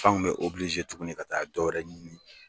Fanw bɛ tugunni ka taa dɔ wɛrɛ ɲini.